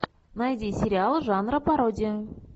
найди сериал жанра пародия